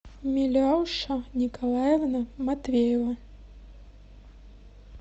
миляуша николаевна матвеева